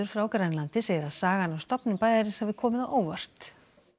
frá Grænlandi segir að sagan af stofnun bæjarins hafi komið á óvart